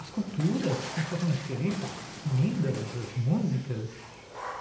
As culturas completamente diferentes, as comidas, as músicas.